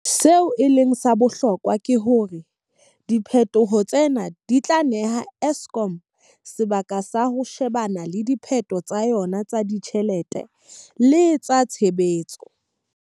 Seo e leng sa bohlokwa ke hore diphetoho tsena di tla neha Eskom sebaka sa ho she-bana le diphephetso tsa yona tsa ditjhelete le tsa tshebetso.